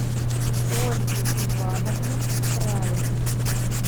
ольги ивановны краевой